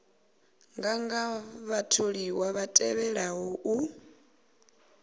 nganga vhatholiwa vha tevhelaho u